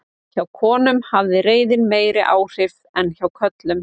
hjá konum hafði reiðin meiri áhrif en hjá körlum